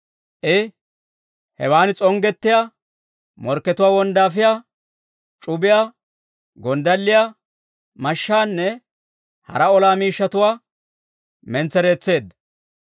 I, hewan s'onggettiyaa, morkkatuwaa wonddaafiyaa c'ubiyaa, gonddalliyaa, mashshaanne hara olaa miishshatuwaa mentsereetseedda.